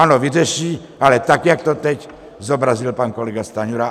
Ano, vyřeší, ale tak, jak to teď zobrazil pan kolega Stanjura.